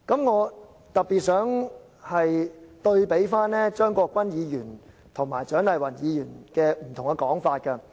我特別想對比張國鈞議員和蔣麗芸議員不同的說法。